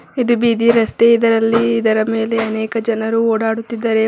ಇದು ಬೀದಿ ರಸ್ತೆ ಇದರಲ್ಲಿ ಇದರ ಮೇಲೆ ಅನೇಕ ಜನರು ಓಡಾಡುತ್ತಿದ್ದಾರೆ.